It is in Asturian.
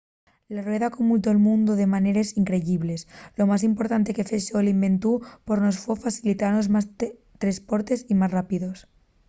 la rueda camudó'l mundu de maneres increyibles lo más importante que fexo l'inventu por nós foi facilitanos más tresportes y más rápidos